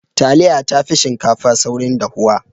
Taliya tafi shinkafa saurin dahuwa.